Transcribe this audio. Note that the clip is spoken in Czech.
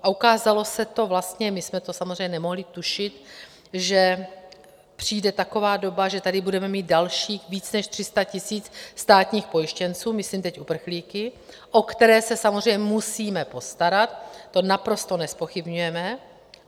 A ukázalo se to vlastně, my jsme to samozřejmě nemohli tušit, že přijde taková doba, že tady budeme mít dalších víc než 300 000 státních pojištěnců, myslím teď uprchlíky, o které se samozřejmě musíme postarat, to naprosto nezpochybňujeme.